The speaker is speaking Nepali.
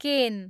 केन